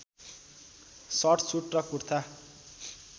short suit र कुर्ता